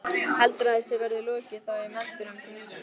Heldurðu að þessu verði lokið þá í meðförum þingsins?